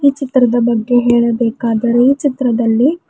ಈ ಚಿತ್ರದ ಬಗ್ಗೆ ಹೇಳಬೇಕಾದರೆ ಚಿತ್ರದಲ್ಲಿ--